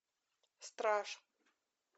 страж